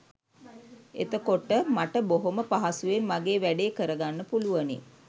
එතකොට මට බොහෝම පහසුවෙන් මගේ වැඬේ කරගන්න පුළුවනි